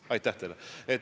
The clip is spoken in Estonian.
Aitäh teile!